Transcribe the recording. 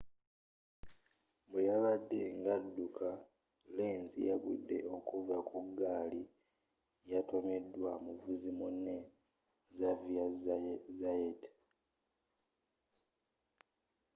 bweyabadde nga addukamu lenz yagudde okuva ku ggaali yatomeddwa muvuzi munne xavier zayat